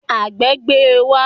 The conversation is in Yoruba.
Àgbẹ̀ gbé e wá